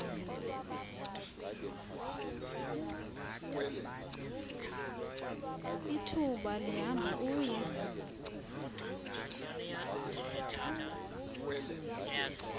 ithuba lihamba uye